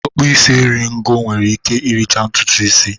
Ọ kpụ isi eri ngo nwere ike ịricha ntutu ịsị.